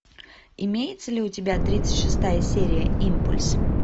имеется ли у тебя тридцать шестая серия импульс